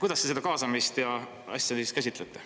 Kuidas te seda kaasamist ja asja käsitlete?